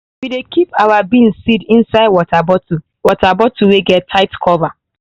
we dey keep our bean seeds inside used water bottle water bottle wey get tight cover.